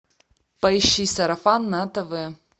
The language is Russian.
поищи сарафан на тв